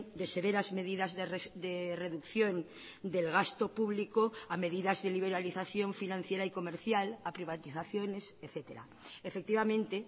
de severas medidas de reducción del gasto público a medidas y liberalización financiera y comercial a privatizaciones etcétera efectivamente